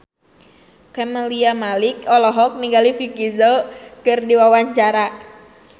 Camelia Malik olohok ningali Vicki Zao keur diwawancara